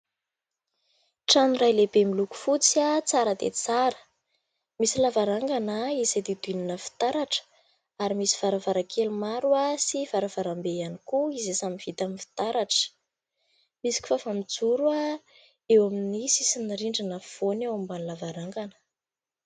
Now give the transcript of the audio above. Trano iray lehibe miloko fotsy, tsara dia tsara misy lavarangana izay hodidinina fitaratra ary misy varavara-kely maro sy varavaram-be ihany koa izay samy vita amin'ny fitaratra. Misy kifafa mijoro a eo amin'ny sisin'ny rindrina afovoany ao ambany lavarangana.